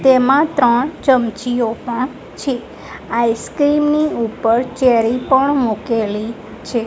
તેમાં ત્રણ ચમચીઓ પણ છે. આઈસ્ક્રીમ ની ઉપર ચેરી પણ મૂકેલી છે.